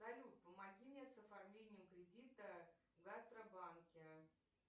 салют помоги мне с оформлением кредита в гастробанке